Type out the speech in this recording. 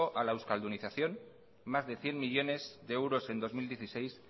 a la euskaldunización más de cien millónes de euros en dos mil dieciséis